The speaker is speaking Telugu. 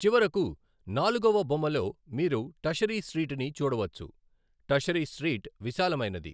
చివరకు నాలుగవ బొమ్మలో మీరు టషరి స్ట్రీట్ ని చూడవచ్చు, టషరి స్ట్రీట్ విశాలమైనది.